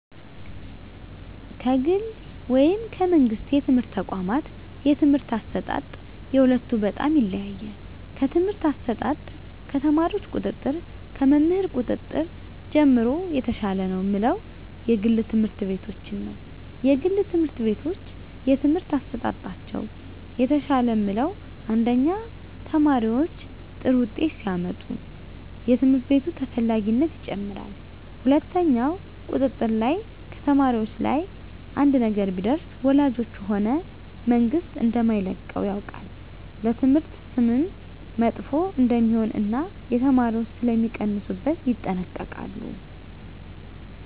ከግል ወይም ከመንግሥት የትምህርት ተቋዋማት የትምህርት አሰጣጥ የሁለቱ በጣም ይለያያል ከትምህርት አሰጣጥ ከተማሪዎች ቁጥጥር ከመምህር ቁጥጥር ጀምሮ የተሻለ ነው ምለው የግል ትምህርት ቤቶችን ነዉ የግል ትምህርት ቤቶች የትምህርት አሠጣጣቸው የተሻለ ምለው አንደኛ ተማሪዎች ጥሩ ውጤት ሲያመጡ የትምህርት ቤቱ ተፈላጊነት ይጨምራል ሁለትኛው ቁጥጥር ላይ ከተማሪዎች ላይ አንድ ነገር ቢደርስ ወላጆች ሆነ መንግስት እደማይለቀው ያውቃል ለትምህርት ስምም መጥፎ እደሜሆን እና የተማሪዎች ሥለሚቀንሡበት ይጠነቀቃሉ